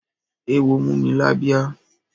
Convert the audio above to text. Eéwo mú mi lábíyá.